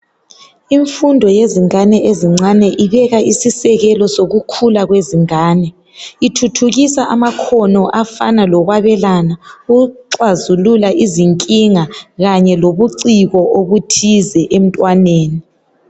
Imfundo yezingane ezincane ibeka isisekelo sokukhula kwezingane , ithuthukisa amakhono afana lokwabelana ukuxazulula izinkinga kanye lobuciko obuthize emntwaneni.